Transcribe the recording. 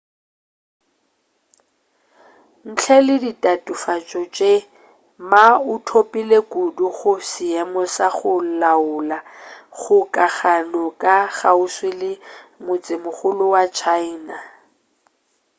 ntle le ditatofatšo tše ma o thopile kudu go seemo sa go laola kgokagano ya kgauswi le motsemogolo wa china